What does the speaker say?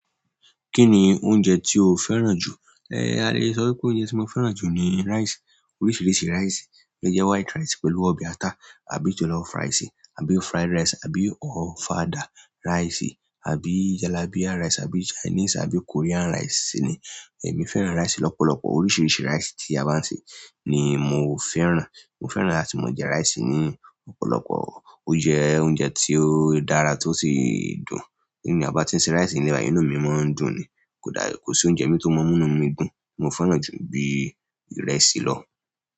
Kí ni oúnjẹ tí o fẹ́ràn jù? A lè sọ pé oúnjẹ tí mo fẹ́ràn jù ni rice. Oríṣìíríṣìí rice, bí i white rice pẹ̀lú ọbẹ̀ ata àbí jọ̀lọ́fù rice àbí fried rice àbí ofada rice àbí jollibee rice àbí chinese àbí korean rice ni èmi fẹ́ràn rice lọ́pọ̀lọpọ̀. Oríṣìíríṣìí rice tí a bá ń ṣe ni mo fẹ́ràn. Mo fẹ́ràn láti máa jẹ rice ni ọ̀pọ̀lọpọ̀. Ó jẹ oúnjẹ tí ó dára tí ó sì dùn. Tí ènìyàn bá ti ń ṣe rice, inú mi máa ń dùn ni. Kò dá, kò sí oúnjẹ mí tó mọ́ inú mi dùn mo fẹ́ràn jù bí ìrẹsì lọ.